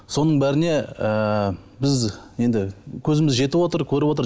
соның бәріне ыыы біз енді көзіміз жетівотыр көрівотыр